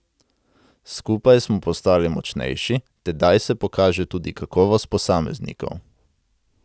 Skupaj smo postali močnejši, tedaj se pokaže tudi kakovost posameznikov.